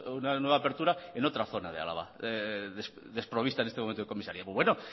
una nueva apertura en otra zona de álava desprovista en este momento de comisaría pues bueno